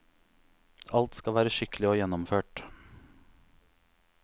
Alt skal være skikkelig og gjennomført.